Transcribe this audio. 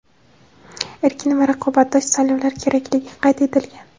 erkin va raqobatdosh saylovlar kerakligi qayd etilgan.